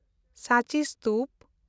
ᱥᱟᱸᱪᱤ ᱥᱛᱩᱯ